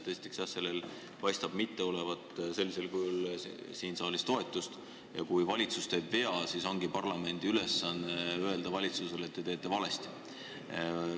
Esiteks, sellel eelnõul ei paista siin saalis toetust olevat ja kui valitsus teeb vea, siis ongi parlamendi ülesanne valitsusele öelda, et te teete valesti.